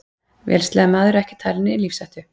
Vélsleðamaður ekki talinn í lífshættu